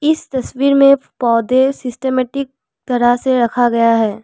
इस तस्वीर में पौधे सिस्टमैटिक तरह से रखा गया है।